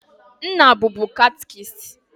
Nna bubu catchist.